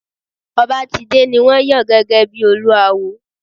Obatide ni won yan gege bi Olúawo.